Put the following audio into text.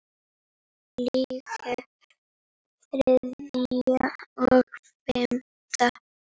Líklega þriðja og fimmta